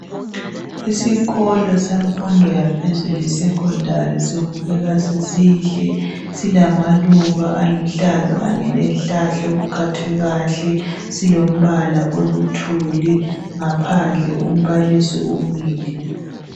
Isikolo semfundo yaphezulu esesecondary sibukeka sisihle silamaluba aluhlaza kanye lezihlahla okuqunywe kuhle, silombala oluthuli, ngaphandle umbalisi umile.